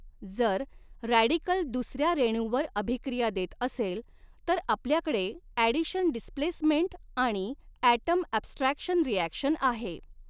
जर रॅडिकल दुसऱ्या रेणूवर अभिक्रिया देत असेल तर आपल्याकडे ॲडिशन डिसप्लेसमेंट आणि ॲटम ॲब्स्ट्रॅक्शन रिॲक्शन आहे.